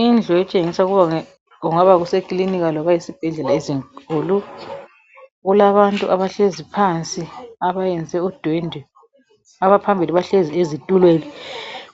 Indlu etshengisa ukuba kungaba sekilinika loba ezibhedlela ezinkulu. Kulabantu abahlezi phansi abayenze udwendwe abaphambili bahlezi ezitulweni